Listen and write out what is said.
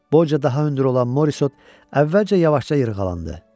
Boyca daha hündür olan Morisot əvvəlcə yavaşca yırğalandı.